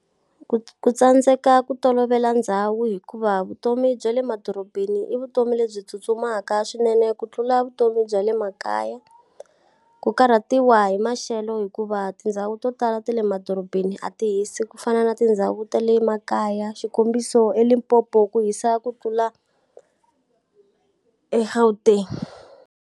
Ku ku tsandzeka ku tolovela ndhawu hikuva vutomi bya le madorobeni i vutomi lebyi tsutsumaka swinene ku tlula vutomi bya le makaya. Ku karhatiwa hi maxelo hikuva tindhawu to tala ta le madorobeni a ti hisi ku fana na tindhawu ta le makaya. Xikombiso eLimpopo ku hisa ku tlula eGauteng.